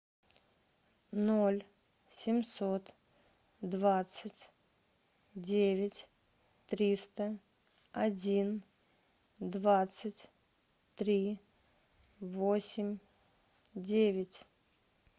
ноль семьсот двадцать девять триста один двадцать три восемь девять